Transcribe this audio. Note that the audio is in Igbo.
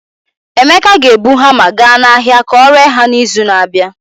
Emeka ga-ebu hamma gaa n'ahịa ka ọ ree ha n'izu na-abịa.